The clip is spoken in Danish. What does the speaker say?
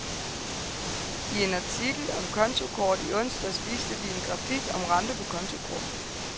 I en artikel om kontokort i onsdags viste vi en grafik om renter på kontokort.